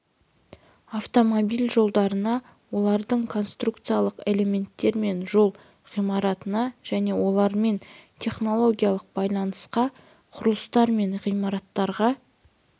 автомобиль жолдарына олардың конструкциялық элементтер мен жол ғимараттарына және олармен технологиялық байланысқан құрылыстар мен ғимараттарға